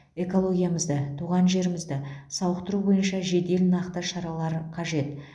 экологиямызды туған жерімізді сауықтыру бойынша жедел нақты шаралар қажет